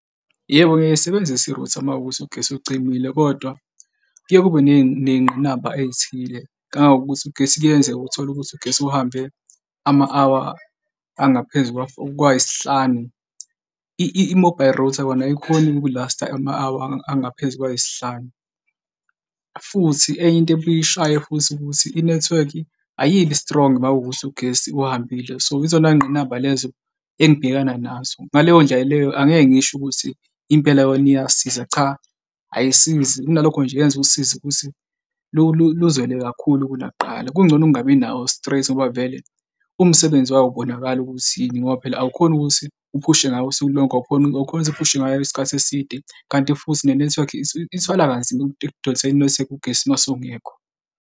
Yebo, ngiyayisebenzisa i-router uma kuwukuthi ugesi ucimile, kodwa kuye kube ney'ngqinamba ey'thile, ngangangokuthi ugesi kuyenzeka uthole ukuthi ugesi uhambe ama-hour angaphezu kwa-four kwayisihlanu. I-mobile router kona ayikhoni ukulasta ama-hour angaphezu kwayisihlanu. Futhi enye into ebuye ishaye futhi ukuthi i-network ayibi strong uma kuwukuthi ugesi uhambile, so, izona y'ngqinamba lezo engibhekana nazo. Ngaleyo ndlela leyo angeke ngisho ukuthi impela yona iyasiza, cha, ayisizi kunalokho nje yenza usizi ukuthi luzwele kakhulu kunakuqala, kungcono kungabi nawo straight ngoba vele umsebenzi wawo awubonakali ukuthi yini ngoba phela awukhoni ukuthi uphushe ngawo usuku lonke awukhoni, awukhoni ukuthi uphushe ngayo isikhathi eside, kanti futhi ne-nethiwekhi ithwala kanzima ukudonsa i-nethiwekhi ugesi uma usungekho.